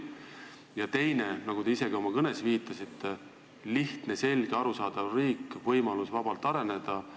Ja teiseks on oluline, nagu te ka oma kõnes viitasite, lihtne, selge, arusaadav riik, võimalus vabalt areneda.